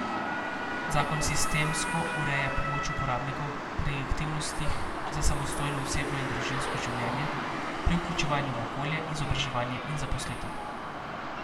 Zakon sistemsko ureja pomoč uporabnikom pri aktivnostih za samostojno osebno in družinsko življenje, pri vključevanju v okolje, izobraževanje in zaposlitev.